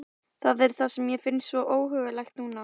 Það er það sem mér finnst svo óhugnanlegt núna.